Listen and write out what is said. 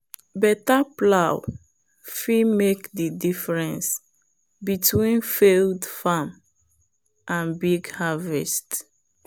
better plow fit make the difference between failed farm and big harvest.